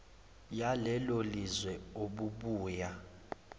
yalelo lizwe obubuya